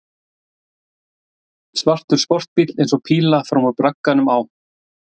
Svartur sportbíll eins og píla fram úr bragganum á